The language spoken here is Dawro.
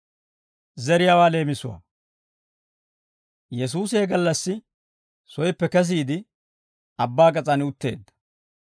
Yesuusi he gallassi soyippe kesiide, abbaa gas'aan utteedda.